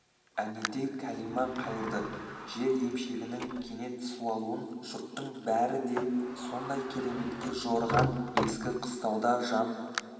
әнетей кәлима қайырды жер емшегінің кенет суалуын жұрттың бәрі де сондай кереметке жорыған ескі қыстауда жан